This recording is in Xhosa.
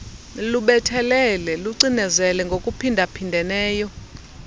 lubethelele lucinezele ngokuphindaphindeneyo